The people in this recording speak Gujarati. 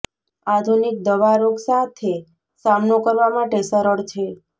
આધુનિક દવા રોગ સાથે સામનો કરવા માટે સરળ છે